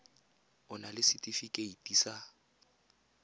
o na le setefikeiti sa